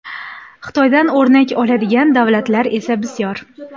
Xitoydan o‘rnak oladigan davlatlar esa bisyor.